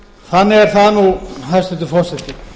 þannig er það nú hæstvirtur forseti